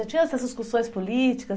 Já tinha essas discussões políticas?